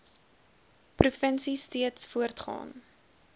provinsie steeds voortgaan